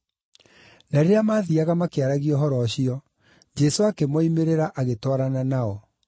Na rĩrĩa maathiiaga makĩaragia ũhoro ũcio, Jesũ akĩmoimĩrĩra, agĩtwarana nao;